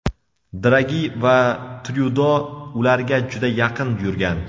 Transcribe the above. Dragi va Tryudo ularga juda yaqin yurgan.